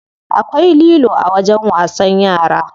Akwai lilo a wajen wasan yara.